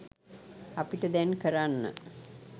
අපිට දැන් කරන්න